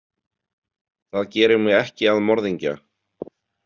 Það gerir mig ekki að morðingja.